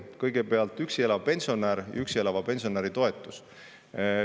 Kõigepealt, üksi elava pensionäri toetus.